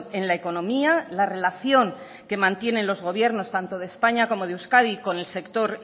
en la economía la relación que mantienen los gobiernos tanto de españa como de euskadi con el sector